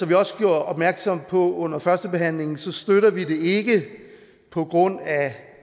vi også gjorde opmærksom på under førstebehandlingen støtter vi det ikke på grund af